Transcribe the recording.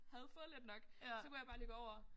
Havde fået lidt nok så kunne jeg bare lige gå over